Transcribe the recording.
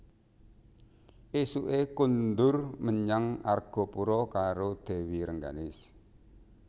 Ésuké kondur menyang Argapura karo Dèwi Rengganis